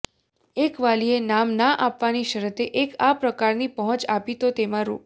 એક વાલીએ નામ ના આપવાની શરતે એક આ પ્રકારની પહોંચ આપી તો તેમાં રૂ